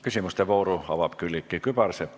Küsimuste vooru avab Külliki Kübarsepp.